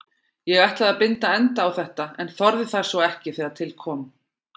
Ég ætlaði að binda enda á þetta en þorði það svo ekki þegar til kom.